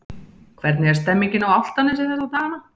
Hvernig er stemmningin á Álftanesi þessa dagana?